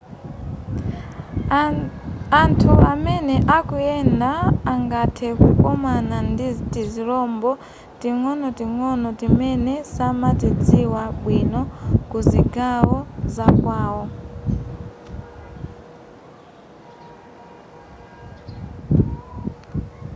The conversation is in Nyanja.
anthu amene akuyenda angathe kukomana ndi tizirombo ting'onoting'ono timene samatidziwa bwino ku zigawo zakwawo